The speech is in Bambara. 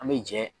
An bɛ jɛ